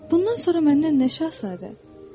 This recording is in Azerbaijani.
Bundan sonra məndən nə şahzadə?"